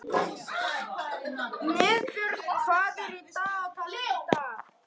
Niðbjörg, hvað er í dagatalinu í dag?